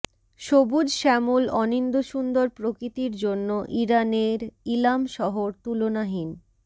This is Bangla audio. সবুজ শ্যামল অনিন্দ্যসুন্দর প্রকৃতির জন্য ইরানের ইলাম শহর তুলনাহীন